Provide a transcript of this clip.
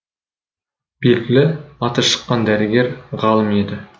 белгілі аты шыққан дәрігер ғалым еді